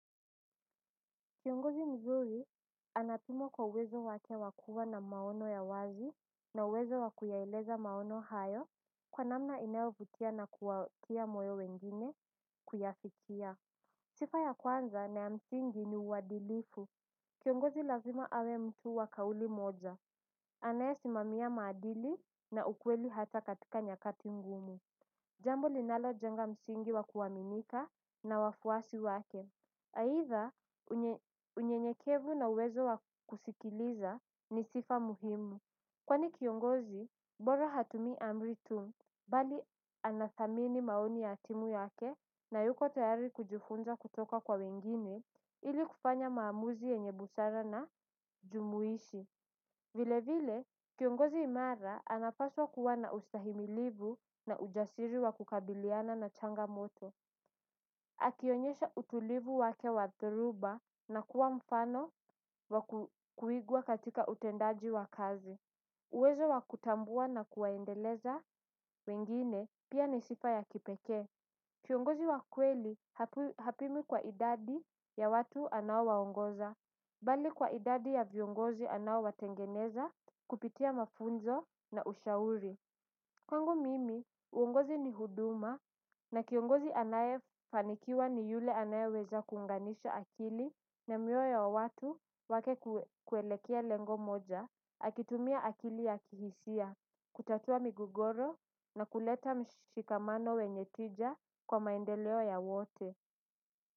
Kiongozi mzuri anatumwa kwa uwezo wake wakua na maono ya wazi na uwezo wakuyaeleza maono hayo kwa namna inayovutia na kuwatia moyo wengine kuyafikia. Sifa ya kwanza na ya msingi ni uwadilifu. Kiongozi lazima awe mtu wa kauli moja. Anayesimamia maadili na ukweli hata katika nyakati mgumu. Jambo linalojenga msingi wa kuwaminika na wafuasi wake aidha, unyenyekevu na uwezo wa kusikiliza ni sifa muhimu. Kwani kiongozi, bora hatumi amri tu. Bali anathamini maoni ya timu yake na yuko tayari kujifunza kutoka kwa wengine. Ili kufanya maamuzi yenye busara na jumuishi. Vile vile, kiongozi imara anapaswa kuwa na ustahimilivu na ujasiri wa kukabiliana na changa moto. Akionyesha utulivu wake wa dhoruba na kuwa mfano wakuigwa katika utendaji wa kazi. Uwezo wa kutambua na kuwaendeleza wengine pia ni sifa ya kipekee. Kiongozi wa kweli hapimwi kwa idadi ya watu anaowaongoza bali kwa idadi ya viongozi anaowatengeneza kupitia mafunzo na ushauri. Kwangu mimi, uongozi ni huduma na kiongozi anayefanikiwa ni yule anayeweza kuunganisha akili na mioyo ya watu wake kuelekea lengo moja, akitumia akili ya kihisia, kutatua migogoro na kuleta mshikamano wenye tija kwa maendeleo ya wote.